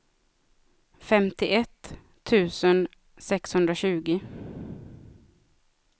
femtioett tusen sexhundratjugo